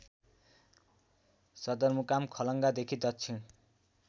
सदरमुकाम खलङ्गादेखि दक्षिण